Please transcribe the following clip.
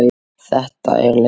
Þetta er leiðin.